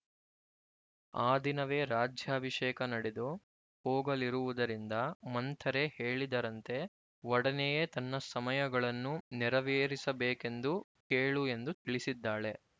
ಆ ದಿನವೇ ರಾಜ್ಯಾಭಿಷೇಕ ನಡೆದು ಹೋಗಲಿರುವುದರಿಂದ ಮಂಥರೆ ಹೇಳಿದರಂತೆ ಒಡನೆಯೇ ತನ್ನ ಸಮಯಗಳನ್ನು ನೆರವೇರಿಸಬೇಕೆಂದು ಕೇಳು ಎಂದು ತಿಳಿಸಿದ್ದಾಳೆ